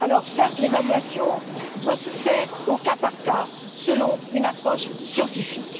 Certes, l'évaluation doit se faire au cas par cas, selon une approche scientifique.